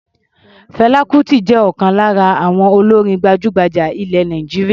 Fẹlá Kutì jẹ́ ọ̀kan lára àwọn olórin gbajúgbajà ilẹ̀ Nàìjíríà.